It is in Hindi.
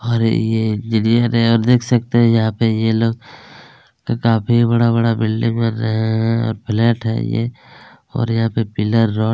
और ये इंजीनियर हैं और देख सकते हैं यहाँ पे ये लोग काफी बड़ा-बड़ा बिल्डिंग बन रहे हैं और फ्लैट है ये और यहाँ पे पिल्लर रोड --